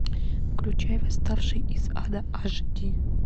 включай восставший из ада аш ди